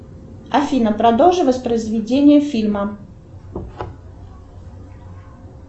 афина продолжи воспроизведение фильма